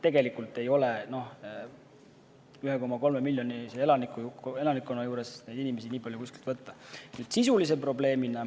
Tegelikult ei ole 1,3 miljonilise elanikkonna juures neid inimesi nii palju kuskilt võtta.